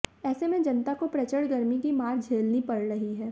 ऐसे में जनता को प्रचड़ गर्मी की मार झेलनी पड़ रही है